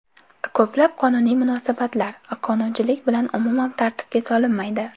Ko‘plab qonuniy munosabatlar qonunchilik bilan umuman tartibga solinmaydi.